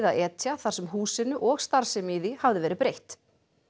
að etja þar sem húsinu og starfsemi í því hafði verið breytt